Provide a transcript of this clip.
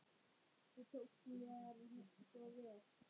Þú tókst mér svo vel.